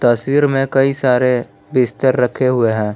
तस्वीर में कई सारे बिस्तर रखे हुए हैं।